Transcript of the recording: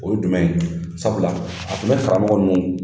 O ye jumɛn ye? Sabula a tun bɛ karamɔgɔ ninnu